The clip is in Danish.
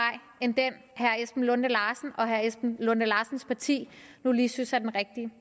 end den herre esben lunde larsen og herre esben lunde larsens parti nu lige synes er den rigtige